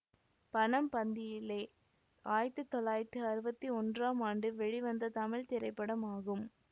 பணம் பந்தியிலே ஆயிரத்தி தொள்ளாயிரத்தி அறுவத்தி ஒன்றாம் ஆண்டு வெளிவந்த தமிழ் திரைப்படமாகும்